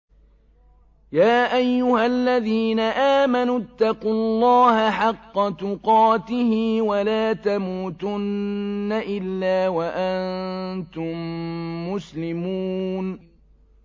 يَا أَيُّهَا الَّذِينَ آمَنُوا اتَّقُوا اللَّهَ حَقَّ تُقَاتِهِ وَلَا تَمُوتُنَّ إِلَّا وَأَنتُم مُّسْلِمُونَ